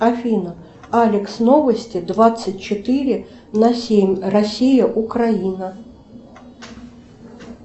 афина алекс новости двадцать четыре на семь россия украина